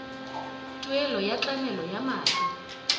tuelo ya tlamelo ya madi